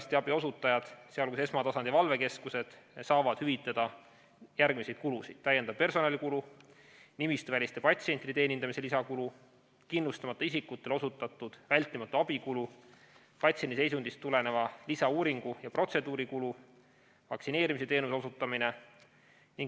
Üldarstiabi osutajatele, sh esmatasandi valvekeskustele, saab hüvitada järgmisi kulusid: täiendav personalikulu, nimistuväliste patsientide teenindamise lisakulu, kindlustamata isikutele osutatud vältimatu abi kulu, patsiendi seisundist tuleneva lisauuringu ja ‑protseduuri kulu, vaktsineerimisteenuse osutamine.